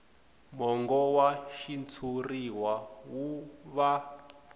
mongo wa xitshuriwa wu va